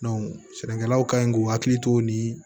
sɛnɛkɛlaw kan ɲi k'u hakili to nin